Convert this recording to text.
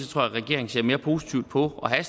tror at regeringen ser mere positivt på at have